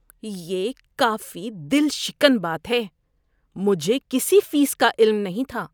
یہ کافی دل شکن بات ہے۔ مجھے کسی فیس کا علم نہیں تھا۔